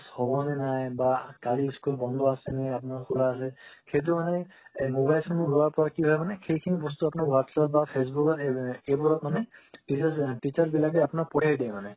হবনে নাই বা কালি school বন্ধ আছে নে আপোনাৰ খুলা আছে সেটো মানে mobilizations ৱোৰ হোৱাৰ পৰ কি হয় মানে সেই খিনি বস্তু আপোনাৰ WhatsApp বা Facebook ত আ এইবোৰত মানে teacher বিলাকে teacher বিলাকে পথিয়াই দিয়ে মানে